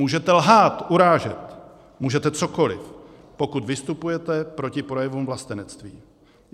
Můžete lhát, urážet, můžete cokoli - pokud vystupujete proti projevům vlastenectví.